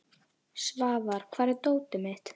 Svafar, hvar er dótið mitt?